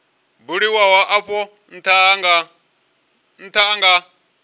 buliwaho afho ntha a nga